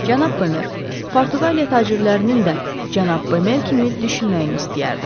Cənab Bemer, Portuqaliya tacirlərinin də cənab Bemer kimi düşünməyini istəyərdim.